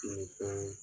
Nin fɛn